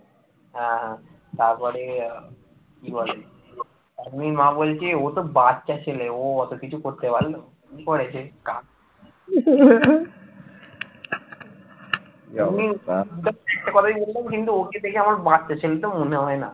ওকে দেখলে আমার বাচ্চা ছেলে তো মনে হয় না